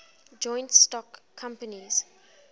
joint stock companies